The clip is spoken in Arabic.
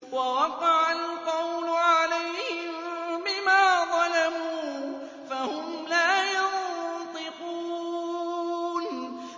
وَوَقَعَ الْقَوْلُ عَلَيْهِم بِمَا ظَلَمُوا فَهُمْ لَا يَنطِقُونَ